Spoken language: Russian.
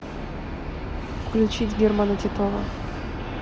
включить германа титова